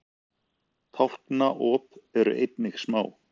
tálknaop eru einnig smá